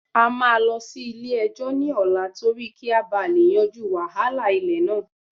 A máa lọ sí ilé-ẹjọ́ ní ọ̀la torí kí a bá lè yanjú wàhálà ilẹ̀ náà